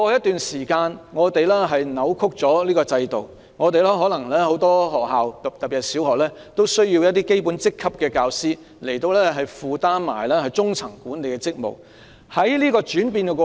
但是，由於這個制度過去被扭曲，可能因為很多學校需要一些基本職級的教師兼顧中層管理職務，以致教師不適應這個轉變過程。